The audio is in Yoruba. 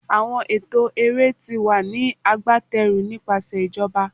Awọn ẹtọ ere ti wa ni agbateru nipasẹ ijoba